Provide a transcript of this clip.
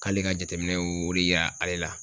K'ale ka jateminɛw y'o de yira ale la.